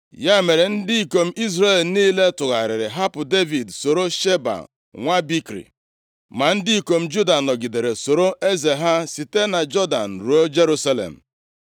Ya mere, ndị ikom Izrel niile tụgharịrị hapụ Devid, soro Sheba nwa Bikri. Ma ndị ikom Juda nọgidere soro eze ha site na Jọdan ruo Jerusalem.